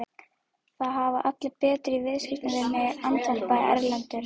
Það hafa allir betur í viðskiptum við mig, andvarpaði Erlendur.